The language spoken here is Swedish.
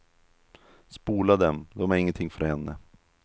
Spola dem, de är ingenting för henne.